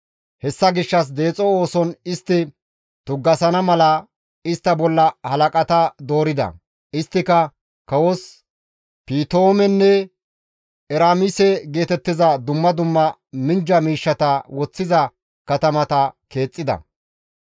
Hessa gishshas deexo ooson istta tuggasana mala istta bolla halaqata doorida. Isttika kawos Piitoomenne Eraamise geetettiza dumma dumma minjja miishshata woththiza katamata keexxida.